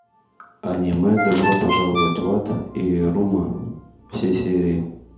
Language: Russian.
аниме добро пожаловать в ад ирума все серии